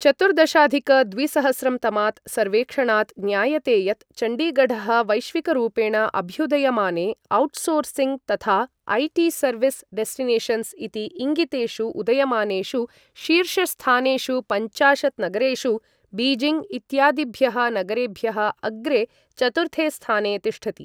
चतुर्दशाधिक द्विसहस्रं तमात् सर्वेक्षणात् ज्ञायते यत् चण्डीगढः वैश्विकरूपेण अभ्युदयमाने औट्सोर्सिङ्ग् तथा ऐ.टी. सर्विस् डेस्टिनेशन्स् इति इङ्गितेषु उदयमानेषु शीर्षस्थानेषु पञ्चाशत् नगरेषु, बीजिंग् इत्यादिभ्यः नगरेभ्यः अग्रे, चतुर्थे स्थाने तिष्ठति।